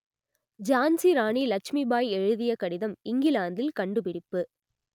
ஜான்சி ராணி லட்சுமிபாய் எழுதிய கடிதம் இங்கிலாந்தில் கண்டுபிடிப்பு